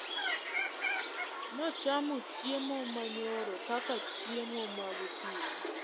Nochamo chiemo manyoro kaka chiemo magokinyi